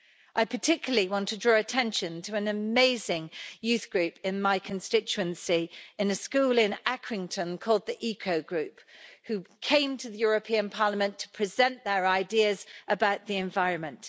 I particularly want to draw attention to an amazing youth group in my constituency in a school in Accrington, called the Eco Group, who came to the European Parliament to present their ideas about the environment.